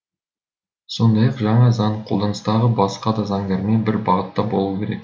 сондай ақ жаңа заң қолданыстағы басқа да заңдармен бір бағытта болуы керек